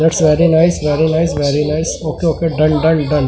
it's very nice very nice very nice okay okay done done done --